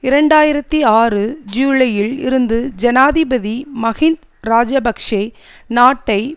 இரண்டு ஆயிரத்தி ஆறு ஜூலையில் இருந்து ஜனாதிபதி மஹிந் இராஜபக்ஷ நாட்டை